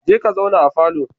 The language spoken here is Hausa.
Je ka zauna a falo.